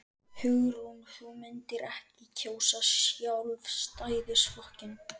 Hugrún: Þú myndir ekki kjósa Sjálfstæðisflokkinn?